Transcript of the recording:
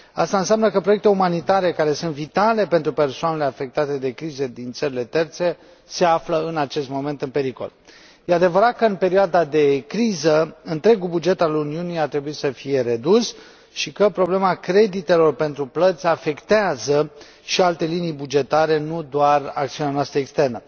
Asta înseamnă că proiecte umanitare care sunt vitale pentru persoanele afectate de crize din țările terțe se află în acest moment în pericol. Este adevărat că în perioada de criză întregul buget al Uniunii a trebuit să fie redus și că problema creditelor pentru plăți afectează și alte linii bugetare, nu doar acțiunea noastră externă.